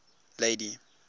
lady